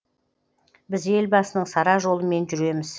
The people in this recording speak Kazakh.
біз елбасының сара жолымен жүреміз